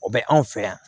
O bɛ anw fɛ yan